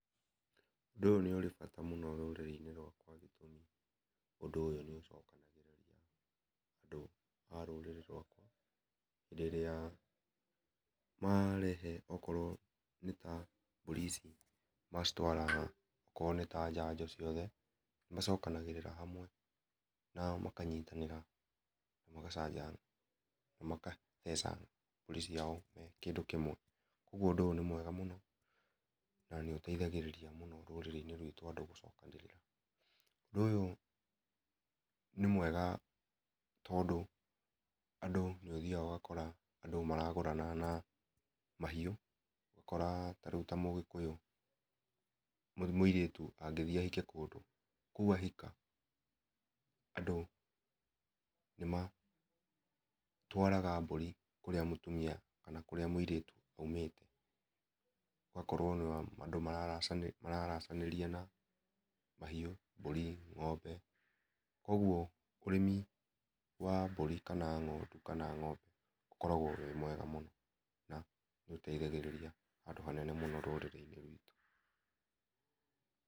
Ũndũ ũyũ nĩ ũrĩ bata mũno rũrĩrĩ inĩ rwakwa nĩ tondũ gĩtũmĩ ũndũ ũyũ nĩ ũcokanagĩrĩria andũ a rũrĩrĩ rwakwa hĩndĩ ĩrĩa marehe okorwo nĩ ta mbũri ici macitwara o korwo nĩta njanjo cio the nĩ macokanagĩrĩra hamwe na makanyĩtanĩra magacanja na magatheca mbũri ciao me kĩndũ kĩmwe. Kũogũo ũndũ ũyũ nĩ mwega mũno na nĩ ũteĩthagĩrĩria mũno rũrĩrĩ inĩ rwĩtũ andũ gũcokanĩrĩra , ũndũ ũyũ nĩ mwega tondũ andũ nĩ ũthiaga ũgakora andũ maragũrana na mahiũ ũgakora ta rĩũ ta mũgĩkũyũ mũirĩtũ angĩthiĩ ahike kũndũ kũu ahika andũ nĩmatwaraga mbũri kũrĩa mũtũmĩa kana kũrĩa mũirĩtũ aũmĩte ũgakora andũ mararacanĩria na mahiũ mbũri ng'ombe kũogwo mũrĩmi wa mbũri kana ng'ondũ kana ng'ombe ũkoragwo wĩ mwega mũno na nĩ ũteithagĩrĩria handũ ha nene mũno rũrĩrĩ inĩ rwitũ.